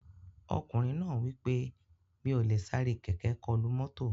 Ọkùnrin náà wí pé "Mi ò lè sáré kẹ̀kẹ́ kọlu mọ́tò"